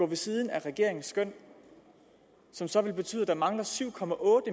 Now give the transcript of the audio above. ved siden af regeringens skøn og som så vil betyde at der mangler syv